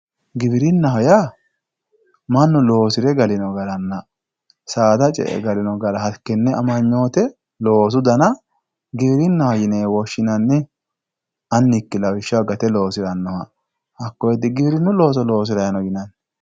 giwirinnaho yaa mannu loosire galino garanna saada ce''e galino gara hakkonne amanyoote loosu dana giwirinnaho yinewe woshshinanni annikki lawishshaho gate loosirannoha hakkonne digiwirinnu looso loosiranni no yinanni.